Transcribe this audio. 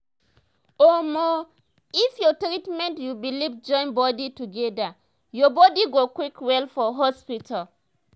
omo if your treatment ur beliefs join body together ur body go quick well for hospital.